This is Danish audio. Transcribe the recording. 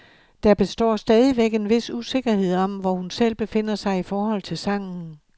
Der består stadigvæk en vis usikkerhed om, hvor hun selv befinder sig i forhold til sangen.